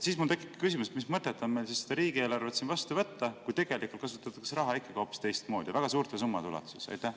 Siis mul tekib küsimus: mis mõtet on meil seda riigieelarvet vastu võtta, kui tegelikult kasutatakse raha ikkagi hoopis teistmoodi väga suurte summade ulatuses?